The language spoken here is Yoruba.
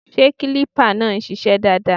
Ṣé kílípà náà ń ṣiṣẹ́ dáadáa?